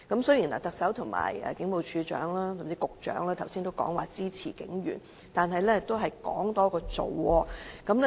雖然特首、警務處處長，甚至局長剛才都說支持警員，但都是空談。